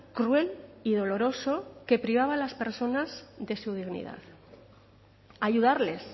cruel y doloroso que privaba a las personas de su dignidad ayudarles